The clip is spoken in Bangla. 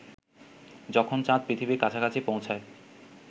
যখন চাঁদ পৃথিবীর কাছাকাছি পৌঁছায়